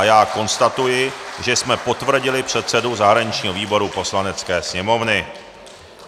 A já konstatuji, že jsme potvrdili předsedu zahraničního výboru Poslanecké sněmovny.